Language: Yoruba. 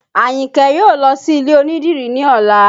Ayinke yóò lọ sí ilé onídìrí ní ọ̀la